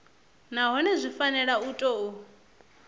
nahone zwi fanela u tou